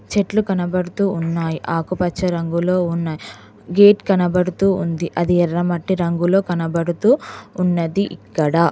చెట్లు కనబడుతూ ఉన్నాయి ఆకుపచ్చ రంగులో ఉన్న గేట్ కనబడుతూ ఉంది అది ఎర్ర మట్టి రంగులో కనబడుతూ ఉన్నది ఇక్కడ